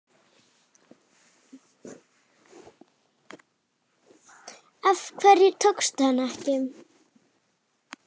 Af hverju tókstu hana ekki?